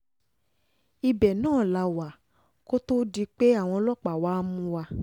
ibẹ̀ náà la wà kó tóó di pé àwọn ọlọ́pàá wàá mú wa